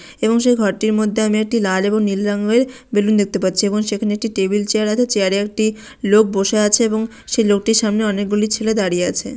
এবং সেই ঘরটির মধ্যে আমি একটি লাল এবং নীল রংয়ের বেলুন দেখতে পাচ্ছি এবং সেখানে একটি টেবিল চেয়ার আছে চেয়ার এ একটি লোক বসে আছে এবং সেই লোকটির সামনে অনেকগুলি ছেলে দাঁড়িয়ে আছে।